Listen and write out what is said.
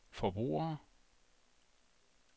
forbrugere